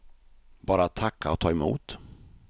Bara att tacka och ta emot.